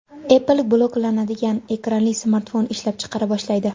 Apple buklanadigan ekranli smartfon ishlab chiqara boshlaydi.